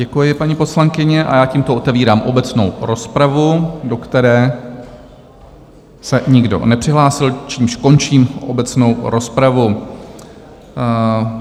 Děkuji, paní poslankyně, a já tímto otevírám obecnou rozpravu, do které se nikdo nepřihlásil, čímž končím obecnou rozpravu.